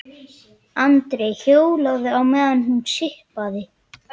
Andri hjólaði á meðan hún sippaði.